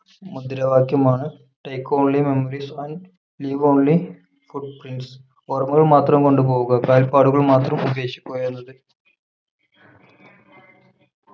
മുദ്രാവാക്യമാണ് Take only memories and leave only footprints ഓർമ്മകൾ മാത്രം കൊണ്ടുപോവുക കാൽപ്പാടുകൾ മാത്രം ഉപേക്ഷിക്കുക എന്നത്